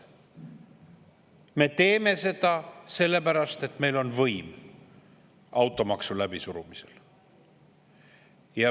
Me teeme seda, sellepärast et meil on võim automaksu läbisurumisel.